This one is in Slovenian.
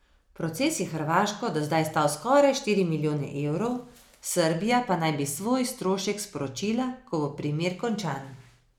Proces je Hrvaško do zdaj stal skoraj štiri milijone evrov, Srbija pa naj bi svoj strošek sporočila, ko bo primer končan.